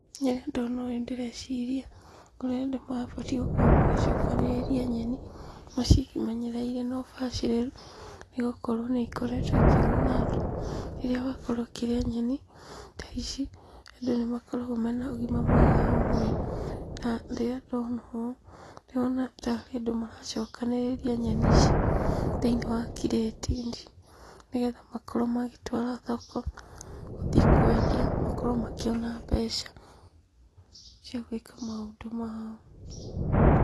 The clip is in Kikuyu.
Rĩrĩa ndona ũũ ndĩreciria ũrĩa andũ mabatiĩ gũkorwo magĩcokanĩrĩria nyeni, macimenyereire na ũbacĩrĩru, nĩgũkorwo nĩikoretwo ikĩguna andũ. Rĩrĩa wakorwo ũkĩrĩa nyeni ta ici, andũ nĩmakoragwo mena ũgima mwega wa mwĩrĩ, na rĩrĩa ndona ũũ, ndĩrona tarĩ andũ maracokanĩrĩria nyeni ici thĩinĩ wa kirĩti-inĩ, nĩgetha makorwo magĩtwara thoko, gũthiĩ kwendia, makorwo makĩona mbeca cia gwĩka maũndũ mao.